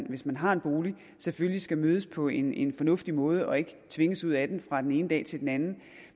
hvis man har en bolig selvfølgelig skal mødes på en en fornuftig måde og ikke tvinges ud af den fra den ene dag til den anden